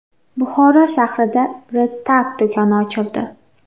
Buxoro shahrida REDTAG do‘koni ochildi.